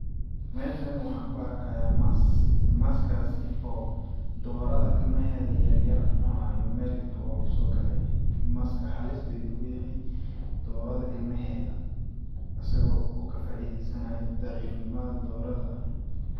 Meshani waxaan ku arkayaa mas, maskaasi oo dhoorada ilmaheeda yaryar cunayo meel intuu ooguso gale maska halis ayuu kuyahay dhorada ilmaheeda asagoo ka faideesanayo dhaciif nimada dhorada.